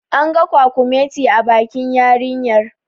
An ga kwakumeti a bakin yarinyar